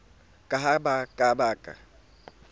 ka ha ba ka ba